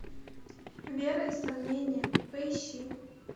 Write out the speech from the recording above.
вера и сомнение поищи